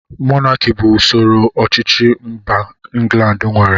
Mọnaki bụ usoro ọchịchị mba England nwere